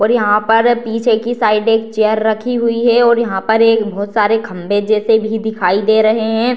और यहाँ पर पीछे की साइड एक चेयर रखी हुई है और यहाँ पर एक बहुत सारे खभे जैसे भी दिखाई दे रहे है।